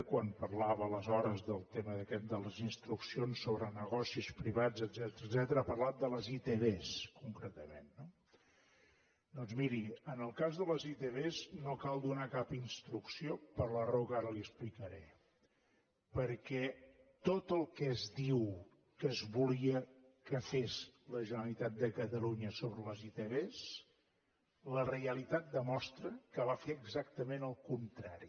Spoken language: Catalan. quan parlava aleshores del tema aquest de les instruccions sobre negocis privats etcètera ha parlat de les itv concretament no doncs miri en el cas de les itv no cal donar cap instrucció per la raó que ara li explicaré perquè tot el que es diu que es volia que fes la generalitat de catalunya sobre les itv la realitat demostra que va fer exactament al contrari